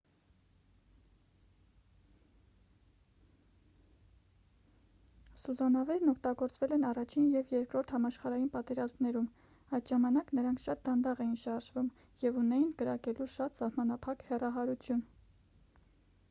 սուզանավերն օգտագործվել են առաջին և երկրորդ համաշխարհային պատերազմներում այդ ժամանակ նրանք շատ դանդաղ էին շարժվում և ունեին կրակելու շատ սահմանափակ հեռահարություն